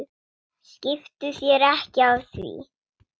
Skiptu þér ekki af því.